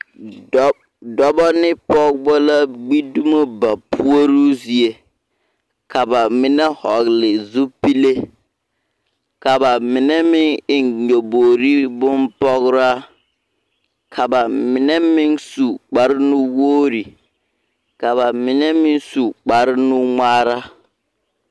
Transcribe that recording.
Dɔb dɔbɔ ne pɔgbɔ la gbidumo ba puoruu zie ka bamine hɔgli zupile ka bamine meŋ eŋ nyɔbogre bonpɔgraa ka bamine meŋ su kparrnuwogre ka bamine su kparrnuŋmaara.